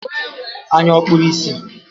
Anya ọ̀ kpuru ìsì?